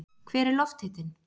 hver er lofthitinn